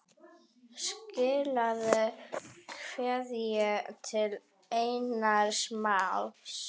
Skilaðu kveðju til Einars Más.